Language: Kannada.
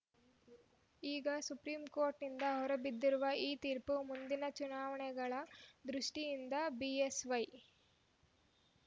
ಈಗ ಸುಪ್ರೀಂ ಕೋರ್ಟ್‌ನಿಂದ ಹೊರಬಿದ್ದಿರುವ ಈ ತೀರ್ಪು ಮುಂದಿನ ಚುನಾವಣೆಗಳ ದೃಷ್ಟಿಯಿಂದ ಬಿಎಸ್‌ವೈ